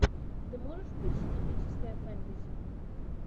ты можешь включить эпическое фэнтези